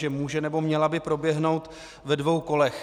Takže může, nebo měla by proběhnout ve dvou kolech.